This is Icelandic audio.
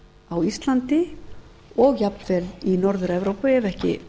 á íslandi og jafnvel í norður evrópu ef ekki